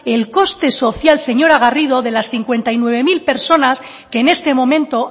el coste social señora garrido de las cincuenta y nueve mil personas que en este momento